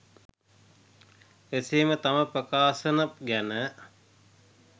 එසේම තම ප්‍රකාශන ගැන